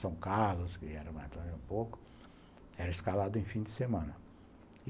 São Carlos, que era mais longe um pouco, era escalado em fim de semana.